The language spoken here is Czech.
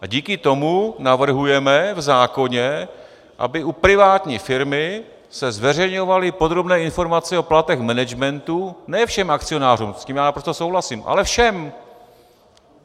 A díky tomu navrhujeme v zákoně, aby u privátní firmy se zveřejňovaly podrobné informace o platech managementu - ne všem akcionářům, s tím já naprosto souhlasím, ale všem.